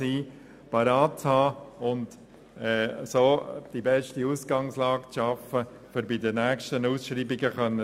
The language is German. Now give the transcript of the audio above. Auf diese Weise würde er die besten Voraussetzungen schaffen, um bei der nächsten Ausschreibung bestehen zu können.